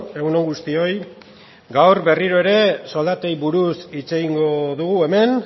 egun on guztioi gaur berriro ere soldatei buruz hitz egingo dugu hemen